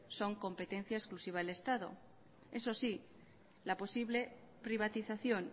son competencia exclusiva del estado eso sí la posible privatización